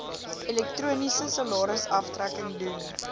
elektroniese salarisaftrekking doen